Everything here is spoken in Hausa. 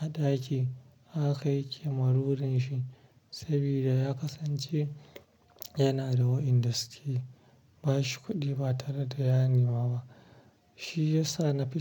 a ɗaki haka yake marurin shi saboda ya kasance yana da wa inda suke ba shi kuɗi ba tare da ya nemi ba. Shi ya sa na fi.